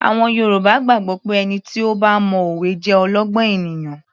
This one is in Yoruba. Àwọn Yorùbá gbàgbọ́ pé ẹni tí ó bá mo òwe jẹ́ olọ́gbọ́n ènìyàn